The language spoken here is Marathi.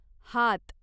हात